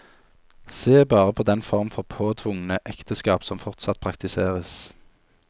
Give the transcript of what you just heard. Se bare på den form for påtvungne ekteskap som fortsatt praktiseres.